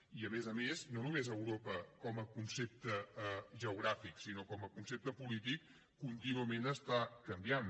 i a més a més europa no només com a concepte geogràfic sinó com a concepte polític contínuament està canviant